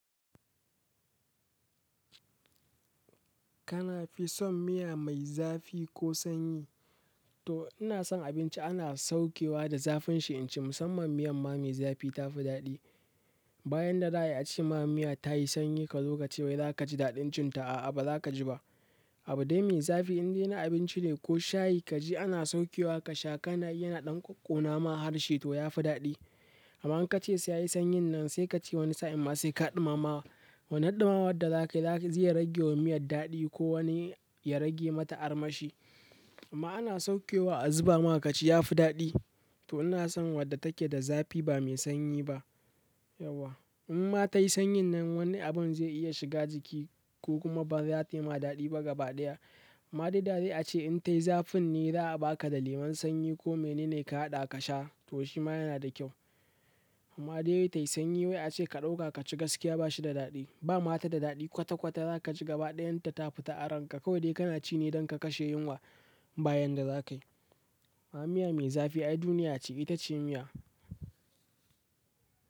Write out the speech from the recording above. Kana fi son miya mai zafi ko sanyi? To ina san abinci ana saukewa da zafin shi in ci, musamman miyan ma mai zafi ta fi daɗi, bayan da za ayi a ce ma miya ta yi sanyi ka zo ka ce wai za ka ji daɗin cin ta, a'a ba za ka ji ba, abun dai mai zafi in dai na abinci ne ko shayi ka ji ana saukewa ka sha kanayi yana ɗan ƙoƙƙona ma harshe to ya fi daɗi, amma in ka ce sai ya yi sanyin nan sai ka ce wani sa'in ma sai ka ɗumama wani ɗumamawa da za ka yi za-zai rage wa miyar daɗi ko wani ya rage mata armashi, amma ana saukewa a zuba ma ka ci ya fi daɗi. To ina son wadda take da zafi ba mai sanyi ba. Yauwa in ma ta yi sanyin nan wani abun zai iya shiga jiki ko kuma ba za ta yi ma daɗi ba gaba ɗaya, ma daida zayi a ce in ta yi zafin ne za a ba ka da lemun sanyi ko mine ne ka haɗa ka sha to shi ma yana da kyau, amma dai dai ta yi sanyi wai a ce ka ɗauka ka ci gaskiya ba shi da daɗi, ba mata da daɗi kwata kwata za ka ji gaba ɗayan ta ta fita aran ka kawai dai kana ci ne don ka kashe yunwa, bayan da za ka yi. Amma miya mai zafi ai duniya ce ita ce miya.